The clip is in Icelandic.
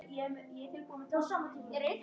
Þetta var svartur litur.